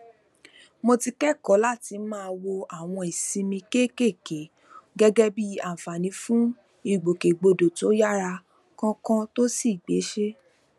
mo ti kékòó láti máa wo àwọn ìsinmi kéékèèké gégé bí àǹfààní fún ìgbòkègbodò tó yára kánkán tó sì gbéṣé